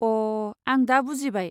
अ' आं दा बुजिबाय।